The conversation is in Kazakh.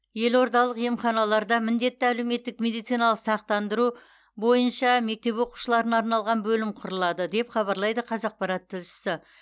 елордалық емханаларда міндетті әлеуметтік медициналық сақтандыру бойынша мектеп оқушыларына арналған бөлім құрылады деп хабарлайды қазақпарат тілшісі